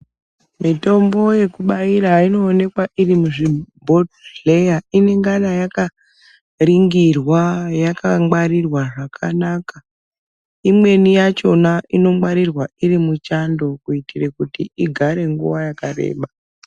Mitombo yekubaira inoonekwa iri muzvibhohleya inongara yakaringirwa yakangwarirwa zvakanaka imweni yachona inongwarirwa iri muchando kuitira kuti igare nguwa yakareba.